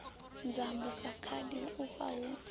nzambo sa khadi huvha hu